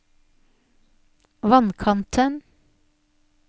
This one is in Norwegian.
vannkanten